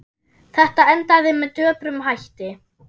Þetta endaði með döprum hætti.